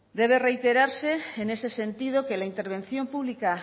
debe reiterarse en ese sentido que la intervención pública